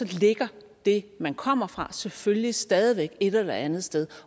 ligger det man kommer fra selvfølgelig stadig væk et eller andet sted